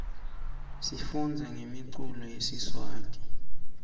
sifundza ngemiculo yesiswati